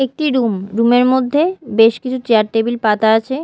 একটি room room -এর মধ্যে বেশ কিছু চেয়ার টেবিল পাতা আছে।